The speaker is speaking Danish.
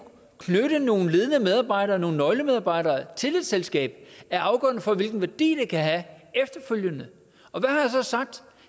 knytte nogle ledende medarbejdere nogle nøglemedarbejdere til et selskab er afgørende for hvilken værdi det kan have efterfølgende og hvad har jeg så sagt